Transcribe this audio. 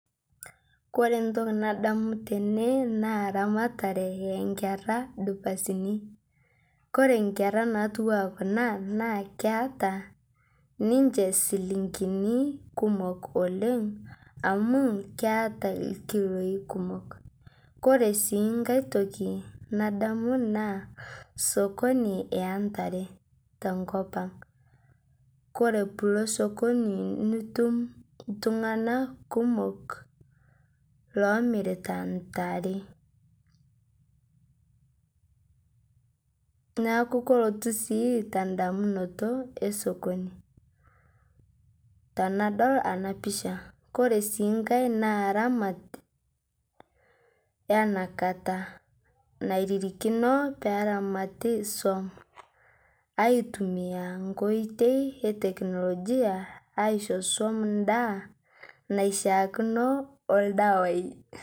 Kore ntoki nadamu tene naa ramataree enkera dupasinii, kore nkera natuwaa kuna naa keata ninshe silinkini kumok oleng' amu keata lkiloi kumok. Kore sii ng'ai toki nadamu naa sokoni entare tenkopang', kore piilo sokoni nitum ltung'anak kumok lomiritaa ntaree, naaku kelotuu sii tendamunoto esokoni tanadol ana picha, kore sii ng'ai naa ramat yanaa kata nairirikino neramati suom aitumia nkoitei eteknologia aisho suom ndaa naishiakino oldawai.